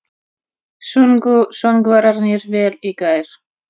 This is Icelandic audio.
Sungu söngvararnir vel í gær?